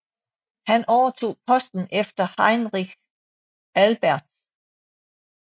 Han overtog posten efter Heinrich Albertz